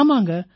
ஆமாங்க